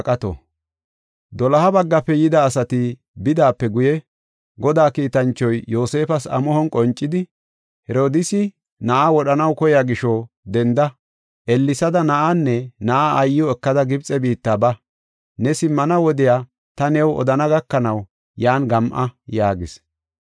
Doloha baggafe yida asati bidaape guye, Godaa kiitanchoy Yoosefas amuhon qoncidi, “Herodiisi na7aa wodhanaw koyiya gisho denda; ellesada na7aanne na7aa aayiw ekada Gibxe biitta ba. Ne simmana wodiya ta new odana gakanaw yan gam7a” yaagis.